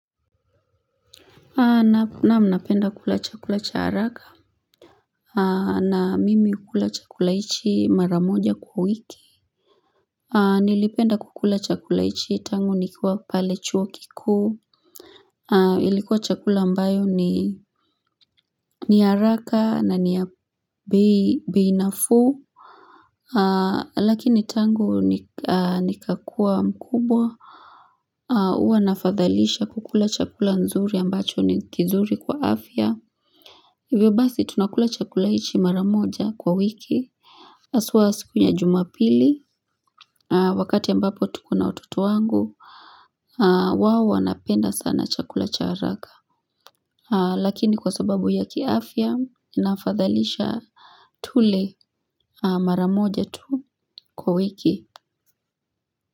Naam, napenda kula chakula cha haraka, na mimi kula chakula hichi mara moja kwa wiki. Nilipenda kukula chakula hichi tangu nikiwa pale chuo kikuu, ilikuwa chakula ambayo ni haraka na ni ya bei nafuu, lakini tangu nikakua mkubwa huwa nafadhalisha kukula chakula nzuri ambacho ni kizuri kwa afya. Hivyo basi tunakula chakula hichi mara moja kwa wiki, haswa siku ya jumapili, wakati ambapo tuko na watoto wangu, wao wanapenda sana chakula cha haraka. Lakini kwa sababu ya kiafya, inafadhalisha tule mara moja tu kwa wiki.